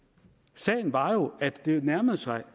sagen var jo at det nærmede sig